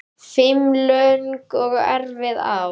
Fimm löng og erfið ár.